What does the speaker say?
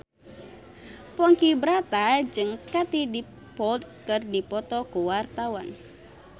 Ponky Brata jeung Katie Dippold keur dipoto ku wartawan